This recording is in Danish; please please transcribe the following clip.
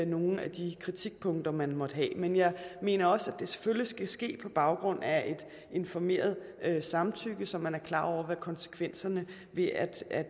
nogle af de kritikpunkter man måtte have men jeg mener også at det selvfølgelig skal ske på baggrund af et informeret samtykke så man er klar over hvad konsekvenserne ved at